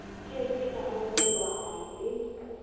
ke ke a arolelanwa le